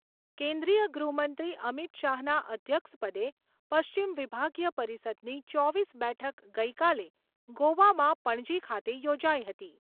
કેન્દ્રિય ગૃહમંત્રી અમિત શાહના અધ્યક્ષપદે પશ્ચિમ વિભાગીય પરિષદની ચોવીસ બેઠક ગઈકાલે ગોવામાં પણજી ખાતે યોજાઈ હતી.